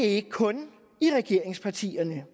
ikke kun i regeringspartierne